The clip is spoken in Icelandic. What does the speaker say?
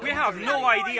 í